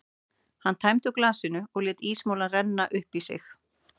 Hann tæmdi úr glasinu og lét ísmolann renna upp í sig.